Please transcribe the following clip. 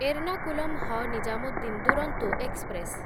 ଏର୍ଣ୍ଣାକୁଲମ ହ ନିଜାମୁଦ୍ଦିନ ଦୁରନ୍ତୋ ଏକ୍ସପ୍ରେସ